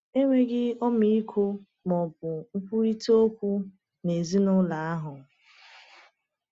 Enweghị ọmịiko ma ọ bụ nkwurịta okwu n’ezinụlọ ahụ.